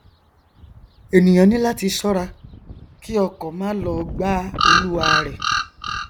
ènìà ní láti ṣọra kí ọkọ má lọ gbá olúwarẹ